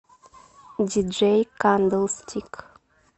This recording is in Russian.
диджей кандлстик